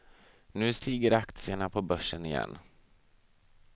Nu stiger aktierna på börsen igen.